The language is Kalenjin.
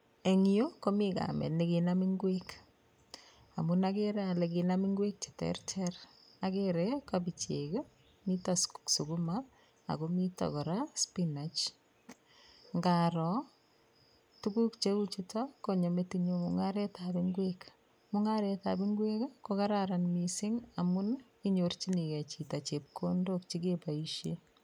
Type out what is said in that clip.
En yu komii kamet nekinam ngwek, amun akerer ale kinam ngwek cheterter akere kopichek, miten sukuma, ako miten kora spinach, ngaroo tukuk cheu chuto konyo metinyun mung'aretab ngwek, mung'aretab ngwek kokararan mising amun inyorchinike chito chepkondok chekeboisien.